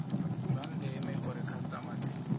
zwa ndeme uri khasitama dzi